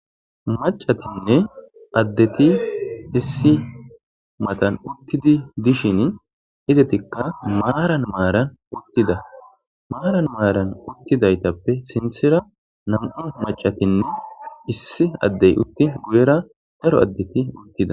macatinne addeti issi matan uttidi dishin izetikka maaran maaran uttida maaran maaran uttidaytappe sinthira nam'u machatinne issi addey uttin guyera daro addeti uttida